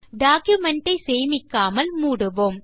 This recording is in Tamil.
டாக்குமென்ட் ஐ சேமிக்காமல் மூடுவோம்